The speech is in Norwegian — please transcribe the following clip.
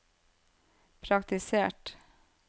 praktisert